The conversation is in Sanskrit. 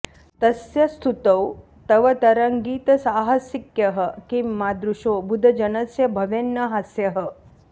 तस्य स्तुतौ तव तरङ्गितसाहसिक्यः किं मादृशो बुधजनस्य भवेन्न हास्यः